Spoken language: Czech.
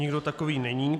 Nikdo takový není.